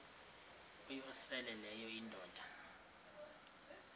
uyosele leyo indoda